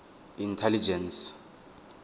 intelligence